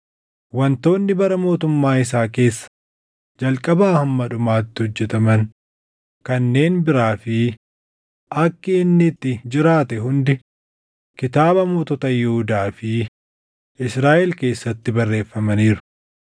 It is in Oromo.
Wantoonni bara mootummaa isaa keessa jalqabaa hamma dhumaatti hojjetaman kanneen biraa fi akki inni itti jiraate hundi kitaaba mootota Yihuudaa fi Israaʼel keessatti barreeffamaniiru.